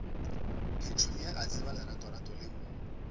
petunia a tseba leratorato leo